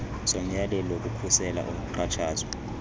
somyalelo wokukhusela ukuxhatshazwa